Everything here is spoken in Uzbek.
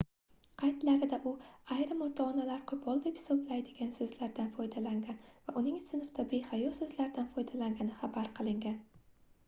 qaydlarida u ayrim ota-onalar qoʻpol deb hisoblaydigan soʻzlardan foydalangan va uning sinfda behayo soʻzlardan foydalangani xabar qilingan